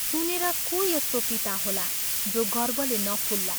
सुनेर को यस्तो पिता होला जो गर्वले नफुल्ला?